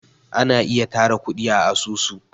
ana ayi tara kudi a asusu